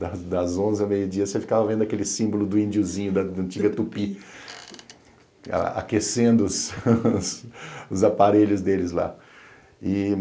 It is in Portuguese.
Das das onze a meio-dia você ficava vendo aquele símbolo do indiozinho, da antiga tupi, aquecendo os aparelhos deles lá. E